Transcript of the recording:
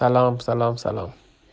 салам салам салам